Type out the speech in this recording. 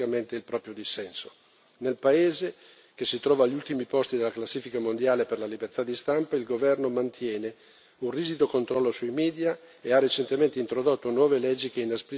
Nel paese, che si trova agli ultimi posti della classifica mondiale per la libertà di stampa, il governo mantiene un rigido controllo sui media e ha recentemente introdotto nuove leggi che inaspriscono ulteriormente la censura.